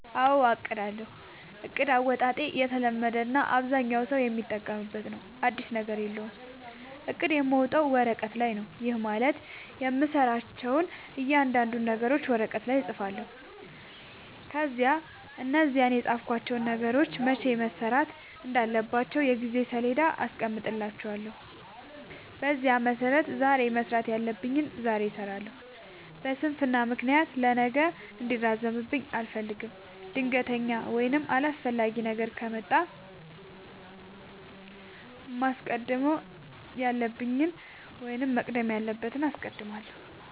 አዎ አቅዳለሁ። እቅድ አወጣጤ የተለመደ እና አብዛኛው ሠው የሚጠቀምበት ነው። አዲስ ነገር የለውም። እቅድ የማወጣው ወረቀት ላይ ነው። ይህም ማለት የምሠራቸውን እያንዳንዱን ነገሮች ወረቀት ላይ እፅፋለሁ። ከዚያ እነዛን የፃፍኳቸውን ነገሮች መቼ መሠራት እንዳለባቸው የጊዜ ሠሌዳ አስቀምጥላቸዋለሁ። በዚያ መሠረት ዛሬ መስራት ያለብኝን ዛሬ እሠራለሁ። በስንፍና ምክንያት ለነገ እንዲራዘምብኝ አልፈልግም። ድንገተኛ ወይም አስፈላጊ ነገር ከመጣ ግን ማስቀደም ያለብኝን ወይም መቅደም ያለበትን አስቀድማለሁ።